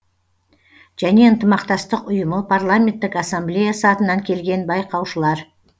және ынтымақтастық ұйымы парламенттік ассамблеясы атынан келген байқаушылар